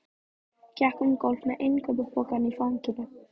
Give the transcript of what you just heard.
Gekk um gólf með innkaupapokann í fanginu.